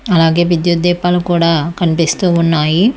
అలాగే విద్యుత్ దీపాలు కూడా కనిపిస్తూ ఉన్నాయి.